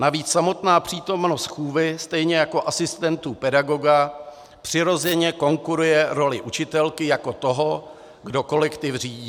Navíc samotná přítomnost chůvy stejně jako asistentů pedagoga přirozeně konkuruje roli učitelky jako toho, kdo kolektiv řídí.